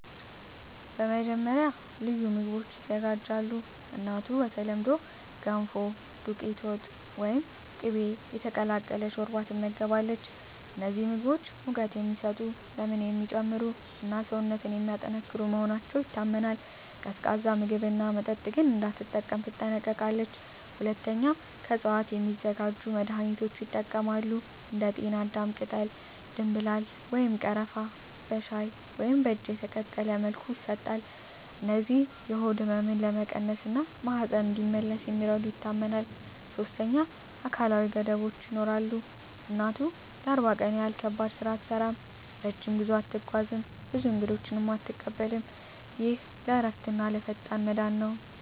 መጀመሪያ፣ ልዩ ምግቦች ይዘጋጃሉ። እናቱ በተለምዶ “ገንፎ”፣ “ዱቄት ወጥ” ወይም “ቅቤ የተቀላቀለ ሾርባ” ትመገባለች። እነዚህ ምግቦች ሙቀት የሚሰጡ፣ ደምን የሚጨምሩ እና ሰውነትን የሚያጠናክሩ መሆናቸው ይታመናል። ቀዝቃዛ ምግብና መጠጥ ግን እንዳትጠቀም ትጠነቀቃለች። ሁለተኛ፣ ከእፅዋት የሚዘጋጁ መድኃኒቶች ይጠቀማሉ። እንደ ጤናዳም ቅጠል፣ ደምብላል ወይም ቀረፋ በሻይ ወይም በእጅ የተቀቀለ መልኩ ይሰጣሉ። እነዚህ የሆድ ህመምን ለመቀነስ እና ማህፀን እንዲመለስ እንደሚረዱ ይታመናል። ሶስተኛ፣ አካላዊ ገደቦች ይኖራሉ። እናቱ ለ40 ቀን ያህል ከባድ ስራ አትሠራም፣ ረጅም ጉዞ አትጓዝም፣ ብዙ እንግዶችንም አትቀበልም። ይህ ለእረፍትና ለፈጣን መዳን ነው